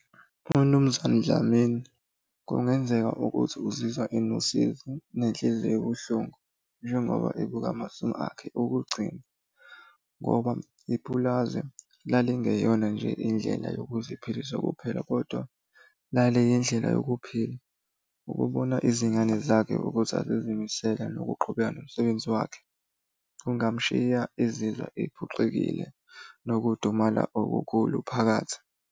UMnumzane Dlamini kungenzeka ukuthi uzizwa enosizi nenhliziyo ebuhlungu njengoba ebuka akhe okugcina, ngoba ipulazi lalingeyona nje indlela yokuziphilisa kuphela kodwa laliyindlela yokuphila. Ukubona izingane zakhe ukuthi azizimisele nokuqhubeka nomsebenzi wakhe, kungamshiya ezizwa ephoxekile nokudumala okukhulu phakathi.